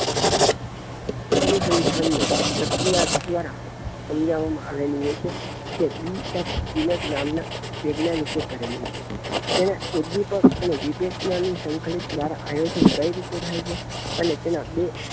અનુસંધાન ને પ્રક્રિયા દ્વારા સમજાવામાં આવેલી હોઈ છે કે જે બી એસ ઈ એફ નામ નાં વૈજ્ઞાનિક એ કરેલી છે તેમાં ઉદ્દીપક એન્ડ વીબેક નામ ની સંકલિત દ્વારા આયોજન કઈ રીતે થાય છે અને તેના બે